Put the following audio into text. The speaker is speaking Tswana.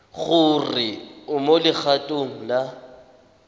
gore o mo legatong la